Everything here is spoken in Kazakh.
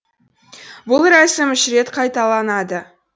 бұл рәсім үш рет қайталанады